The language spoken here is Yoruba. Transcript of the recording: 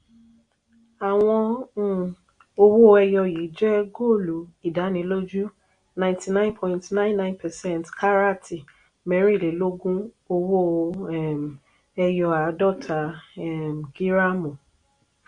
àwọn um owó ẹyọ yìí jẹ́ góòlù ìdánilójú ninety nine point nine nine percent karat mẹ́rìnlélógún owó um ẹyọ àádọ́ta um gíráàmù.